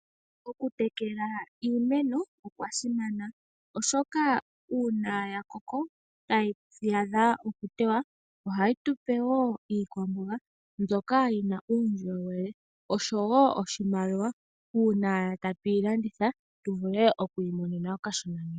Okutekela iimeno okwa simana oshoka uuna ya koko e tayi a dha okutewa ohayi tupe woo iikwamboga mbyoka yina uundjolowele osho woo oshimaliwa uuna tatu yilanditha tu vule okwiimonena okashona.